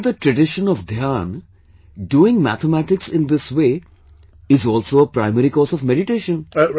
Even in the tradition of dhyan, doing mathematics in this way is also a primary course of meditation